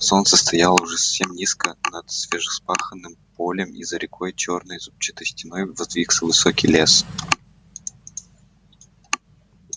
солнце стояло уже совсем низко над свежевспаханным полем и за рекой чёрной зубчатой стеной воздвигся высокий лес